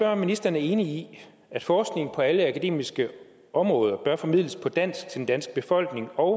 om ministeren er enig i at forskning på alle akademiske områder bør formidles på dansk til den danske befolkning og